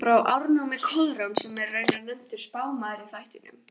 frá ármanni Koðráns, sem raunar er nefndur spámaður í þættinum